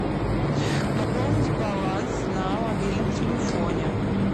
пополнить баланс на мобильном телефоне